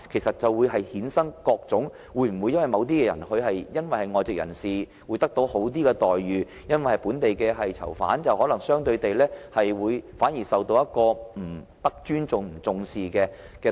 否則，會否衍生各種問題，例如某些外籍人士得到較好待遇，本地囚犯反而相對地不受尊重和重視？